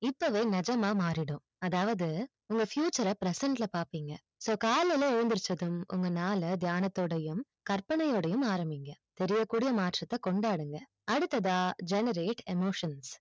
இப்பவே நிஜமா மாறிடும் அதாவது உங்க future அ present ல பாப்பிங்க so காலைல எஞ்சித்ததும் உங்க நாள்ல தியனோடையும் கற்பனைனோடையும் ஆரம்பிங்க மாற்றத்தை கொண்டாடுங்கள் அடுத்ததா generate emotions